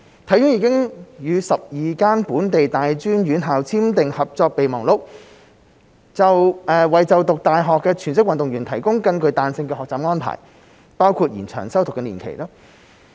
體院已與12間本地大專院校簽訂合作備忘錄，為就讀大學的全職運動員提供更具彈性的學習安排，包括延長修讀年期。